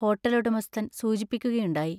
ഹോട്ടലുടമസ്ഥൻ സൂചിപ്പിക്കുക യുണ്ടായി.